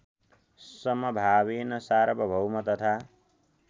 समभावेन सार्वभौम तथा